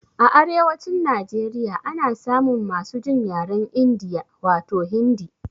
A arewacin Najeriya ana samun masu jin yaren India, wato Hindi.